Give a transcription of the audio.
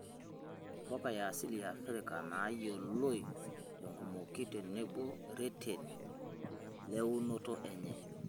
Mpuka e asili e Afrika naayioloi tenkumoki tenebo reteni le eunoto enye.